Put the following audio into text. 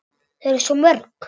Þau eru svo mörg.